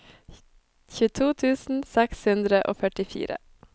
tjueto tusen seks hundre og førtifire